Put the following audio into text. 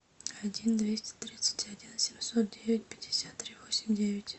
один двести тридцать один семьсот девять пятьдесят три восемь девять